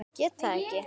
Get það ekki.